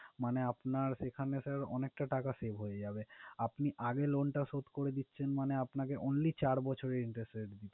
মানে আপনার এখানে sir অনেকটা টাকা saved হয়ে যাবে। আপনি আগে loan টা শোধ করে দিচ্ছেন মানে আপনাকে only চার বছরের interest rate